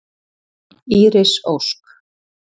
Íris Ósk.